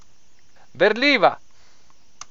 Berljiva!